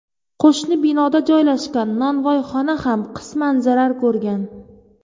qo‘shni binoda joylashgan nonvoyxona ham qisman zarar ko‘rgan.